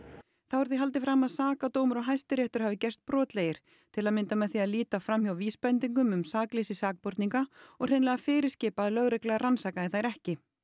þá er því haldið fram að sakadómur og Hæstiréttur hafi gerst brotlegir til að mynda með því að líta fram hjá vísbendingum um sakleysi sakborninga og hreinlega að fyrirskipa að lögregla rannsakaði þær ekki